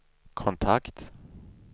kontakt